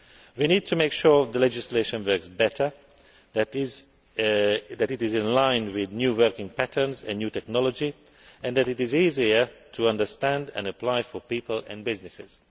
We need to make sure the legislation works better, that it is in line with new working patterns and new technology, and that it is easier to understand and apply for people and businesses.